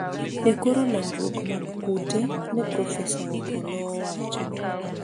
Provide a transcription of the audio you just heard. e koro landruok mag kute, ne Profesa Opolo owacho